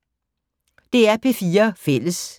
DR P4 Fælles